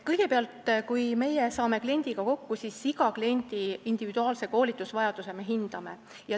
Kõigepealt, kui meie saame kliendiga kokku, siis me hindame iga kliendi individuaalset koolitusvajadust.